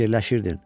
Fikirləşirdin.